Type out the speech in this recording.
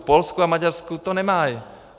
V Polsku a Maďarsku to nemají.